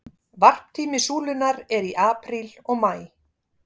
Varptími súlunnar er í apríl og maí.